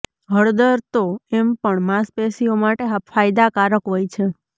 હળદર તો એમ પણ માંસપેશિઓ માટે ફાયદાકારક હોય છે